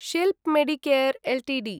Shilp Medicare Ltd